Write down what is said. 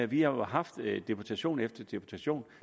vi har jo haft deputation efter deputation